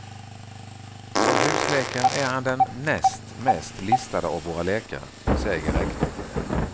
Som husläkare är han den näst mest listade av våra läkare, säger rektorn.